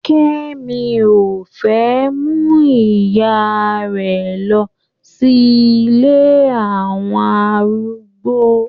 Kẹ́mi ò fẹ́ mú ìyá rẹ̀ lọ sí ilé àwọn arúgbó.